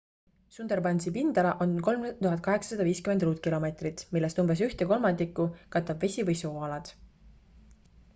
sundarbansi pindala on 3850 km² millest umbes ühte kolmandikku katab vesi või sooalad